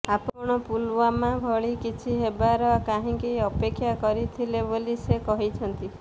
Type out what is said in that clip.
ଆପଣ ପୁଲୱାମା ଭଳି କିଛି ହେବାର କାହିଁକି ଅପେକ୍ଷା କରିଥିଲେ ବୋଲି ସେ କହିଛନ୍ତି